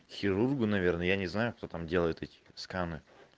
к хирургу наверное я не знаю кто там делает эти сканы